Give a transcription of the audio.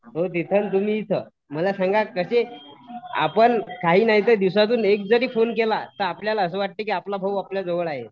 तो तिथं आणि तुम्ही इथं, मला सांगा कसे आपण काही नाही तर दिवसातून एकजरी फोन केला त आपल्याला असं वाटतंय की आपला भाऊ आपल्या जवळ आहे.